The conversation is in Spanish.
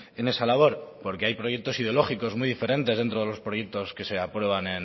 en esa labor porque hay proyectos ideológicos muy diferentes dentro de los proyectos que se aprueban